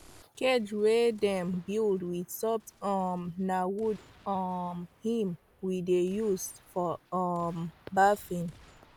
cage wey dem build with soft um wood na um him we dey use for um birthing